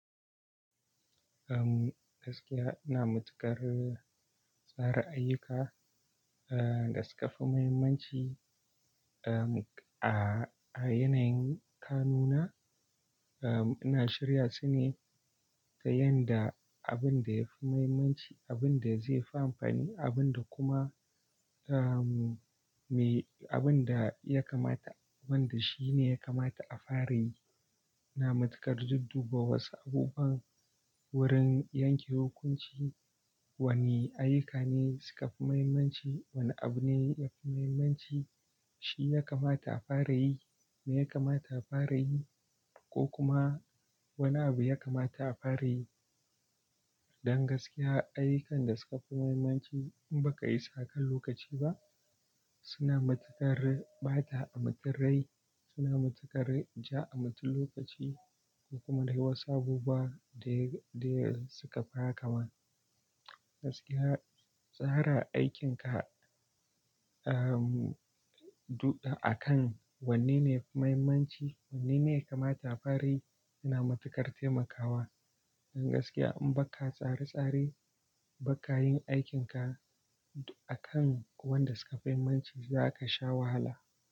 Eh, gaskiya ina matukar tsara ayyuka, eh, da suka fi muhimmanci, eh, a, a yanayin kanuna. Eh, ina shirya su ne ta yadda abin da ya fi muhimmanci, abin da zai fi amfani, abin da kuma, eh, me abin da ya kamata, wanda shi ne ya kamata a fara yi. Ina matukar dudduba wasu abubuwan wurin yanke hukunci wane ayyuka ne suka fi muhimmanci, wane abu ne ya fi muhimmanci, shi ya kamata a fara yi, me ya kamata a fara yi ko kuma wane abu ya kamata a fara yi. Don gaskiya, ayyukan da suka fi muhimmanci in baka isa kan lokaci ba suna matuƙar ɓata mutun rai, suna matuƙar ja a mutun lokaci da kuma dai wasu abubuwa da, da sukafi hakama. Gaskiya, tsara aikinka, eh, d-akan wanne ne ya fi muhimmanci, wanne ne ya kamata a fara yi yana matuƙar taimakawa. Don gaskiya in baka tsare-tsare, ba ka yin aikinka duk akan wanda suka fi muhimmanci za ka sha wahala.